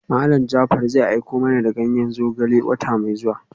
Malam Jaafar zai aiko mana da ganyen zogale a wata mai zuwa.